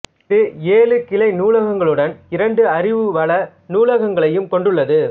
இது ஏழு கிளை நூலகங்களுடன் இரண்டு அறிவுவள நூலகங்களையும் கொண்டுள்ளது